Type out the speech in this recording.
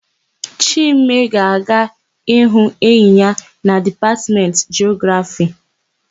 Chime ga-aga ịhụ enyi ya na Dipatmentị Jiografii.